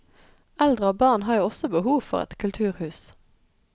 Eldre og barn har jo også behov for et kulturhus.